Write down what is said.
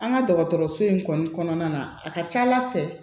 An ka dɔgɔtɔrɔso in kɔni kɔnɔna na a ka ca ala fɛ